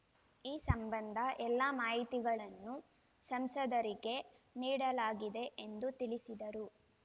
ಈ ಸಂಬಂಧ ಎಲ್ಲ ಮಾಹಿತಿಗಳನ್ನು ಸಂಸದರಿಗೆ ನೀಡಲಾಗಿದೆ ಎಂದು ತಿಳಿಸಿದರು